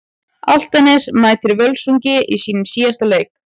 Álftanes mætir Völsungi í sínum síðasta leik.